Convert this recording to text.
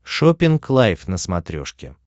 шоппинг лайф на смотрешке